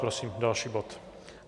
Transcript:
Prosím další bod.